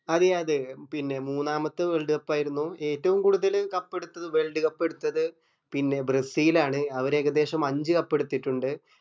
അറിയ അതെ പിന്നെ മൂന്നാമത്തെ world cup ആയിരുന്നു ഏറ്റോം കൂടുതൽ cup എട്ത്തത് world cup എട്ത്തത് പിന്നെ ബ്രസിൽ ആണ് അവര് ഏകദേശം അഞ്ച് cup എട്ത്തിട്ടുണ്ട്‌